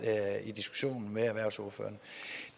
i diskussionen med erhvervsordførerne